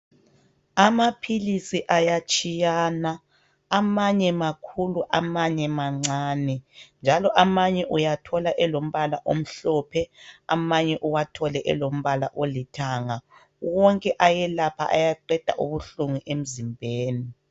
Amaphilisi ayatshiyana amanye makhulu amanye mancane, njalo amanye uyathola elombala omhlophe amanye uwathole elombala olithanga. Wonke ayelapha, ayaqeda ubuhlungu emzimbeni.